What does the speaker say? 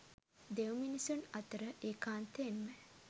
දෙව්මිනිසුන් අතර ඒකාන්තයෙන්ම